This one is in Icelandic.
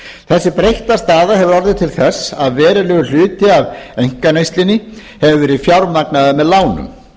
þessi breytta staða hefur orðið til þess að verulegur hluti af einkaneyslunni hefur verið fjármagnaður með lánum